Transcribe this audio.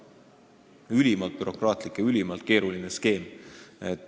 See oleks ülimalt bürokraatlik ja ülimalt keeruline skeem.